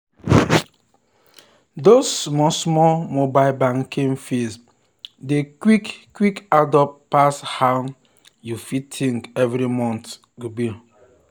those small small mobile banking fees dey quick quick add up pass how you fit think every month.